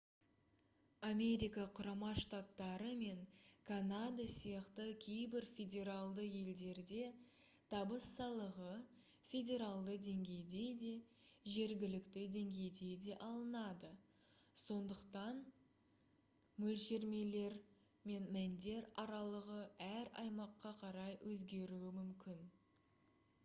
америка құрама штаттары мен канада сияқты кейбір федералды елдерде табыс салығы федералды деңгейде де жергілікті деңгейде де алынады сондықтан лмөлшерлемелер мен мәндер аралығы әр аймаққа қарай өзгеруі мүмкін